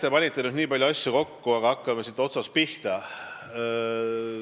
Te panite nüüd nii palju asju kokku, aga hakkame otsast pihta.